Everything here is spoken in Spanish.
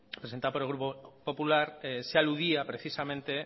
presentada por el grupo popular se aludía precisamente